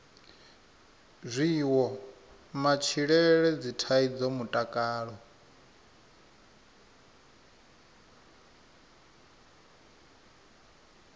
zwiwo matshilele dzithaidzo mutakalo